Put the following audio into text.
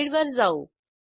स्लाईडवर जाऊ